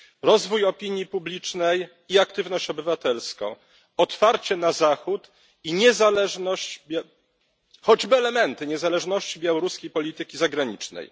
rozwój opinii publicznej i aktywność obywatelską, otwarcie na Zachód i niezależność, choćby elementy niezależności białoruskiej polityki zagranicznej.